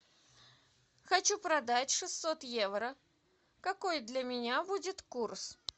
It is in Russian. хочу продать шестьсот евро какой для меня будет курс